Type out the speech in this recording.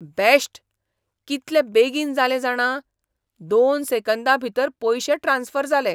Best. कितले बेगीन जालें जाणा, दोन सेकंदां भितर पयशे ट्रांस्फर जालें.